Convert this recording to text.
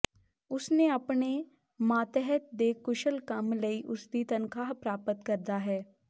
ਉਸ ਨੇ ਆਪਣੇ ਮਾਤਹਿਤ ਦੇ ਕੁਸ਼ਲ ਕੰਮ ਲਈ ਉਸ ਦੀ ਤਨਖਾਹ ਪ੍ਰਾਪਤ ਕਰਦਾ ਹੈ